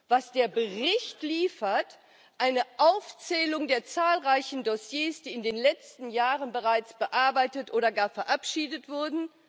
Was der Bericht liefert eine Aufzählung der zahlreichen Dossiers, die in den letzten Jahren bereits bearbeitet oder gar verabschiedet wurden.